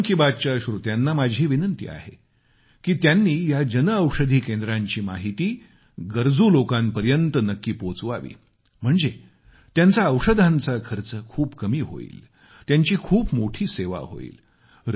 मन की बात च्या श्रोत्यांना माझी विनंती आहे की त्यांनी या जनऔषधी केंद्रांची माहिती गरजू लोकांपर्यत नक्की पोहोचवावी म्हणजे त्यांचा औषधांचा खर्च खूप कमी होईल त्यांची खूप मोठी सेवा होईल